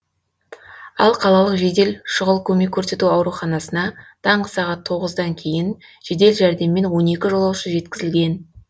ал қалалық жедел шұғыл көмек көрсету ауруханасына таңғы сағат тоғыздан кейін жедел жәрдеммен он екі жолаушы жеткізілген